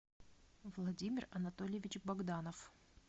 владимир анатольевич богданов